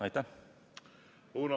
Aitäh!